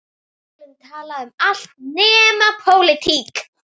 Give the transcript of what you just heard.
Við skulum tala um allt nema pólitík.